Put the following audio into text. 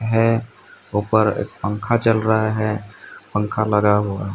है ऊपर पंखा चल रहा है पंख लगा हुआ--